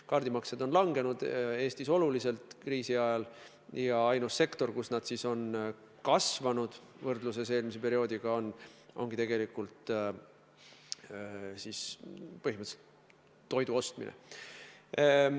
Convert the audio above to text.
Kaardimaksed on Eestis kriisiajal oluliselt langenud ja ainus sektor, kus nad siis on võrreldes eelmise perioodiga kasvanud, ongi põhimõtteliselt toidu ostmine.